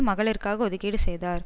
மகளிருக்காக ஒதுக்கீடு செய்தார்